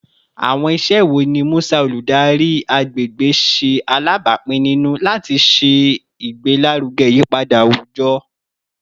Awọn iṣẹ wo ni Musa, oludari agbegbe, ṣe alabapin ninu lati ṣe igbelaruge iyipada awujọ?